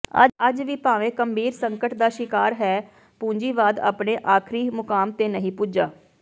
ਅੱਜ ਵੀ ਭਾਵੇਂ ਗੰਭੀਰ ਸੰਕਟ ਦਾ ਸ਼ਿਕਾਰ ਹੈ ਪੂੰਜੀਵਾਦ ਆਪਣੇ ਆਖਰੀ ਮੁਕਾਮ ਤੇ ਨਹੀਂ ਪੁੱਜਾ